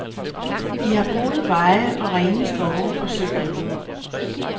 I har gode veje og rene skove og søer.